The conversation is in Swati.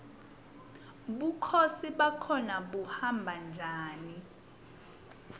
bukhosi bakhona buhamba njani